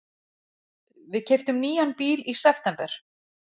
Við keyptum nýjan bíl í september.